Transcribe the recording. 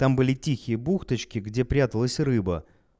там были тихие бухточки где пряталась рыба